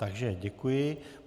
Takže děkuji.